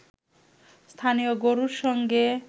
স্থানীয় গরুর সঙ্গে